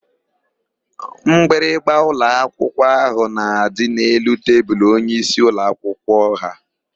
Mgbịrịgba ụlọakwụkwọ ahụ na-adị n'elu tebulu onyeisi ụlọakwụkwọ ha.